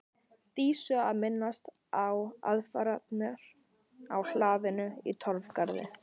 Dísu að minnast á aðfarirnar á hlaðinu í Torfgarði.